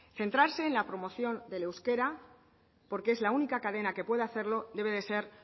centrarse en la promoción del euskera porque es la única cadena que puede hacerlo debe de ser